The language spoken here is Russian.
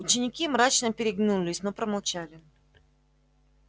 ученики мрачно переглянулись но промолчали